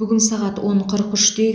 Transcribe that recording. бүгін сағат он қырық үште